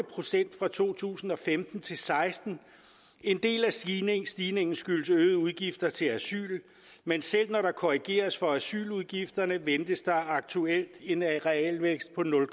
procent fra to tusind og femten til seksten en del af stigningen stigningen skyldes øgede udgifter til asyl men selv når der korrigeres for asyludgifterne ventes der aktuelt en realvækst på nul